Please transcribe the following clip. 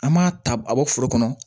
An m'a ta a bɔ foro kɔnɔ